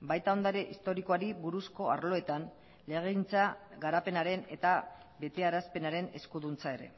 baita ondare historikoari buruzko arloetan legegintza garapenaren eta betearazpenaren eskuduntza ere